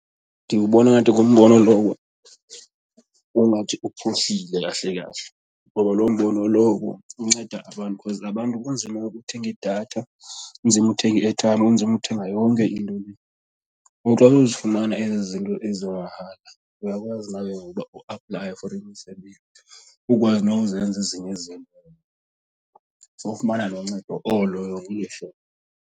Ndiwubona ngathi ngumbono lowo ongathi uphuhlile kahle kahle ngoba loo mbono lowo unceda abantu because abantu kunzima ukuthenga idatha, kunzima ukuthenga i-airtime kunzima ukuthenga yonke into le. And then ukuzifumana ezi zinto ezi mahala uyakwazi nawe ke ngoku ukuba uaplaye for imisebenzi ukwazi nokuzenza ezinye izinto zokufumana lo ncedo olo .